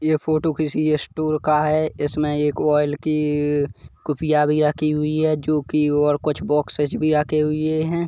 ये फोटो किसी स्टोर का है इस में एक ओइल की कुफिया भिया की हुई हे। जोकी और बोक्स्सेज भी आते हुई है।